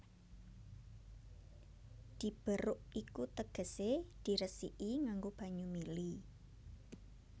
Diberok iku tegesé diresiki nganggo banyu mili